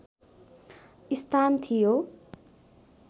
स्थान थियो